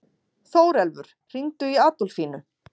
Þórelfur, hringdu í Adolfínu.